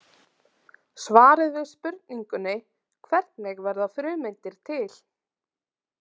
Svarið við spurningunni Hvernig verða frumeindir til?